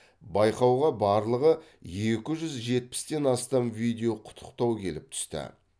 байқауға барлығы екі жүз жетпістен астам видео құттықтау келіп түсті